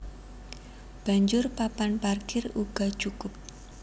Banjur papan parkir uga cukup